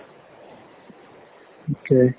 ঠিকে।